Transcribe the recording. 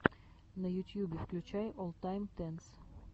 на ютьюбе включай оллтайм тенс